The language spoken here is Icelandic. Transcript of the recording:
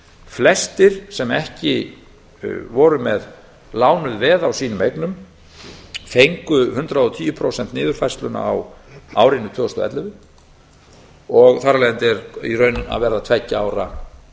flestir sem ekki voru með lánuð veð á eignum sínum fengu hundrað og tíu prósenta niðurfærsluna á árinu tvö þúsund og ellefu og þar af leiðandi er að verða komin tveggja ára